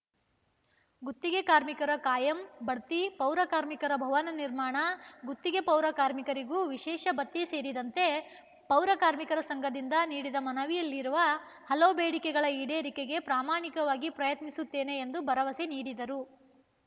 ಗುತ್ತಿಗೆ ಕಾರ್ಮಿಕರ ಕಾಯಂ ಬಡ್ತಿ ಪೌರ ಕಾರ್ಮಿಕ ಭವನ ನಿರ್ಮಾಣ ಗುತ್ತಿಗೆ ಪೌರ ಕಾರ್ಮಿಕರಿಗೂ ವಿಶೇಷ ಭತ್ಯೆ ಸೇರಿದಂತೆ ಪೌರ ಕಾರ್ಮಿಕರ ಸಂಘದಿಂದ ನೀಡಿದ ಮನವಿಯಲ್ಲಿರುವ ಹಲವು ಬೇಡಿಕೆಗಳ ಈಡೇರಿಕೆಗೆ ಪ್ರಾಮಾಣಿಕವಾಗಿ ಪ್ರಯತ್ನಿಸುತ್ತೇನೆ ಎಂದು ಭರವಸೆ ನೀಡಿದರು